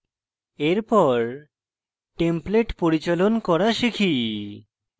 এর পর templates পরিচালন করা শিখি